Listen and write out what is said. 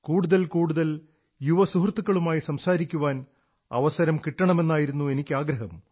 കൂടുതൽ കൂടുതൽ യുവ സുഹൃത്തുക്കളുമായി സംസാരിക്കാൻ അവസരം കിട്ടണമെന്നായിരുന്നു എനിക്കാഗ്രഹം